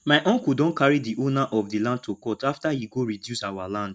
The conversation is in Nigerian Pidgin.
my uncle don carry the owner of the land to court after he go reduce our land